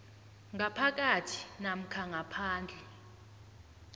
ngaphakathi namkha ngaphandle